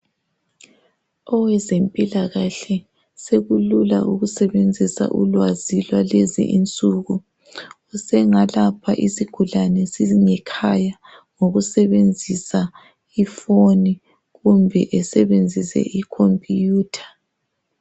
Owezempilakahle ukusebenzisa ulwazi lwakulezinsuku usengalapha isigulane singikhaya ngokusebenzisa iphoni kumbe esebenzise ikhomputha.